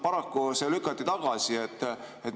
Paraku lükati see tagasi.